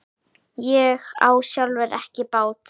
Ég á sjálfur ekki bát.